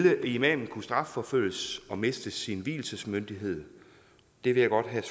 imamen kunne strafforfølges og miste sin vielsesmyndighed det vil jeg godt have